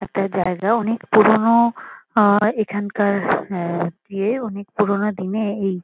একটা জায়গা অনেক পুরোনো আ এখানকার এ ইয়ে অনেক পুরোনো দিনে এই --